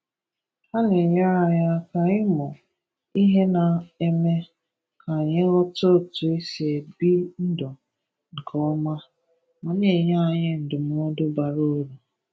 Ha na-enyere anyi aka ịmụ ihe, na-eme ka anyi ghọta otu e si ebi ndụ nke ọma, ma na-enye anyi ndụmọdụ bara uru.